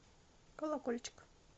колокольчик